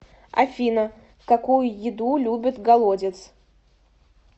афина какую еду любит голодец